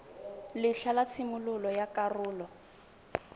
letlha la tshimololo ya karolo